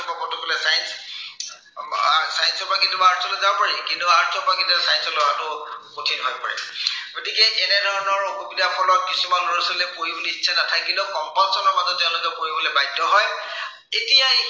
আহ science ৰ পৰা কেতিয়াবা arts লৈ যাব পাৰি। কিন্তু arts ৰ পৰা science লৈ অহাটো কঠিন হৈ পৰে। গতিকে এনে ধৰনৰ অসুবিধাৰ ফলত কিছুমান ল'ৰা-ছোৱালীয়ে পঢ়িবলৈ ইচ্ছা নাথাকিলেও compulson ৰ মাজত তেওঁলোকে পঢ়িবলৈ বাধ্য় হয়। এতিয়া